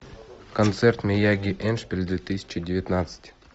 концерт мияги эндшпиль две тысячи девятнадцать